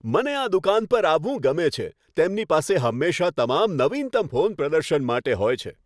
મને આ દુકાન પર આવવું ગમે છે. તેમની પાસે હંમેશા તમામ નવીનતમ ફોન પ્રદર્શન માટે હોય છે.